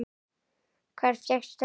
Hvar fékkstu þetta?